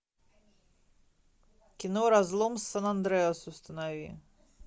кино разлом сан андреас установи